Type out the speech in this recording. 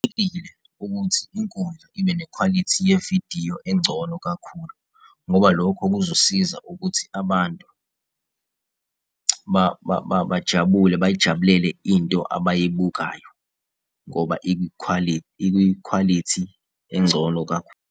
ukuthi inkundla ibe nekhwalithi yevidiyo engcono kakhulu. Ngoba lokho kuzosiza ukuthi abantu bajabule bayijabulele into abayibukayo ngoba ikwikhwalithi engcono .